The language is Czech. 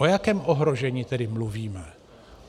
O jakém ohrožení tedy mluvíme?